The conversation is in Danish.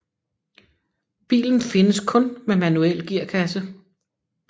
Bilen findes kun med manuel gearkasse